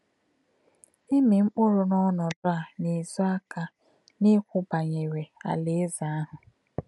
Ịmị mkpụrụ n’ọnọdụ a na-ézò àka n’ikwu banyere Alaeze ahụ.